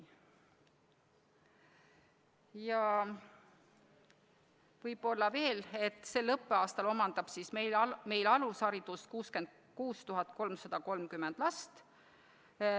Ja võib-olla veel ka fakt, et sel õppeaastal omandab meil alusharidust 66 330 last.